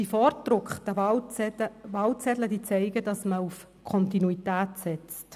Die vorgedruckten Wahlzettel zeigen, dass man auf Kontinuität setzt.